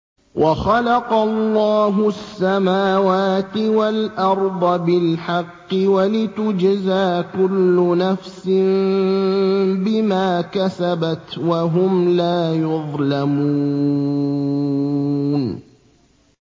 وَخَلَقَ اللَّهُ السَّمَاوَاتِ وَالْأَرْضَ بِالْحَقِّ وَلِتُجْزَىٰ كُلُّ نَفْسٍ بِمَا كَسَبَتْ وَهُمْ لَا يُظْلَمُونَ